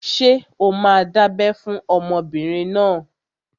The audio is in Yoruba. Ṣé o máa dábẹ́ fún ọmọbìnrin náà?